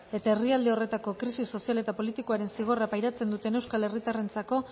eta herrialde horretako krisi sozial eta politikoaren zigorra pairatzen duten euskal herritarrentzako